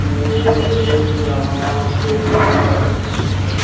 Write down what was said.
ये एक यहां पे बड़ी सी--